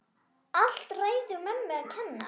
Allt ræðu mömmu að kenna!